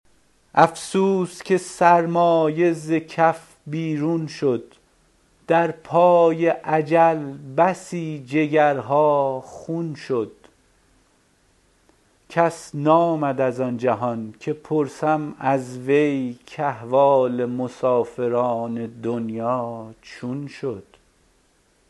افسوس که سرمایه ز کف بیرون شد در پای اجل بسی جگرها خون شد کس نامد از آن جهان که پرسم از وی کاحوال مسافران دنیا چون شد